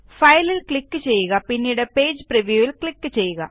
file ല് click ചെയ്യുക പിന്നീട് പേജ് Previewൽ ക്ലിക് ചെയ്യുക